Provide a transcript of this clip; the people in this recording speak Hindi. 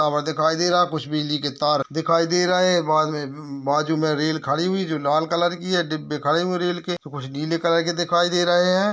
टावर दिखाई दे रहा है। कुछ बिजली के तार दिखाई दे रहे हैं बाजु में उम्म बाजु में रेल खड़ी हुई है जो लाल कलर की है डिब्बे खड़े हुए है रेल के तो कुछ नीले कलर के दिखाई दे रहे है।